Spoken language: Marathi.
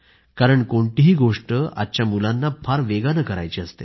कारण कोणतीही गोष्ट आजच्या मुलांना फार वेगानं करायची असते